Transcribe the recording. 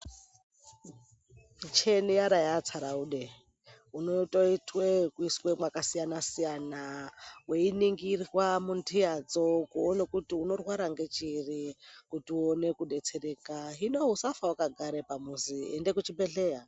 Michina yaara yaatsaraude, unotoitwe yekuiswe mwakasiyana-siyana weiningirwe mundiyadzo kuone kuti unorwara nechiri kuti uone kudetsereka. Hino usafe wakagare pamuzi, ende kuchibhedhleya.